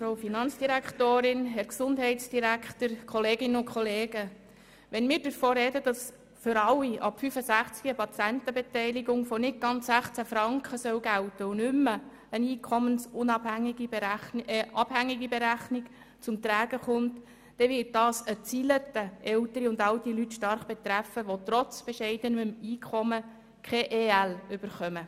Wenn wir darüber sprechen, dass für alle ab 65 Jahren eine Patientenbeteiligung von nicht ganz 16 Franken gelten soll und nicht mehr eine einkommensabhängige Berechnung zum Tragen kommt, wird dies eine Reihe von älteren Leute stark treffen, welche trotz bescheidenem Einkommen keine EL erhalten.